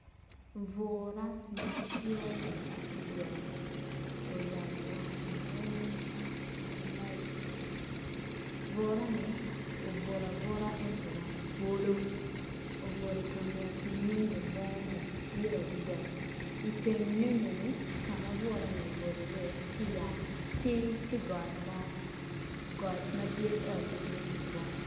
Bura macol adada oyabo wange weng malac burani obuto abuta ento wange twolo obuto ikanget nyonyo mo madit adada iteng nyonyoni ka ma burani obuto iye tye got madit got madit ento pe dit tutwal.